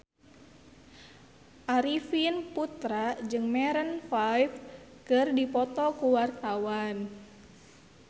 Arifin Putra jeung Maroon 5 keur dipoto ku wartawan